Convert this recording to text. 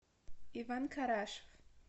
иван карашев